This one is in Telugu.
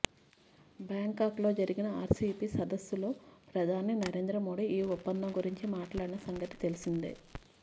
బ్యాంకాక్లో జరిగిన ఆర్సీఈపీ సదస్సులో ప్రధాని నరేంద్రమోదీ ఈ ఒప్పందం గురించి మాట్లాడిన సంగతి తెలిసిందే